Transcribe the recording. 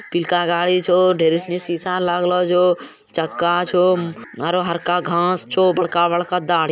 पिलका गाड़ी छो ढेर उसमे सीसा लागलो छो चक्का छो आरो हरका घांस छो बड़का-बड़का दाढ़ी---